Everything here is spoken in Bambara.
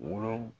Wolo